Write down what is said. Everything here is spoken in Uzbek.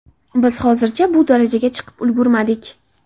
Biz hozircha bu darajaga chiqib ulgurmadik.